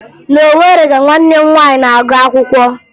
Na Owere ka nwanne m nwaanyị na-agụ akwụkwọ